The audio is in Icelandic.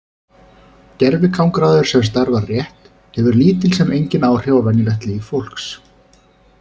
Gervigangráður sem starfar rétt hefur lítil sem engin áhrif á venjulegt líf fólks.